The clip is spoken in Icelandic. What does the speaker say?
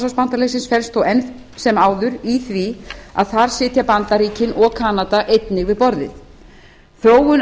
atlantshafsbandalagsins felst þó enn sem áður í því að þar sitja bandaríkin og kanada einnig við borðið þróun